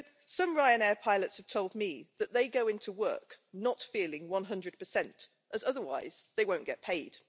Some Ryanair pilots have told me that they go into work not feeling 100, as otherwise they won't get paid.